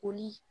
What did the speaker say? Ko ni